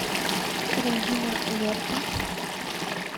регина лерпа